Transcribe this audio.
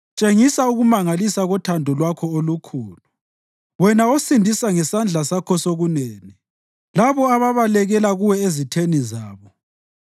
Tshengisa ukumangalisa kothando lwakho olukhulu, wena osindisa ngesandla sakho sokunene, labo ababalekela kuwe ezitheni zabo.